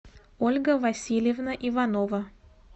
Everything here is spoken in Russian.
ольга васильевна иванова